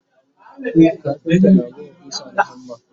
kafinta na buga ƙusa da hammer